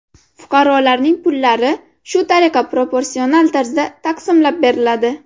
Fuqarolarning pullari shu tariqa proporsional tarzda taqsimlab beriladi.